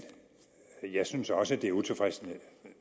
jeg synes også det er utilfredsstillende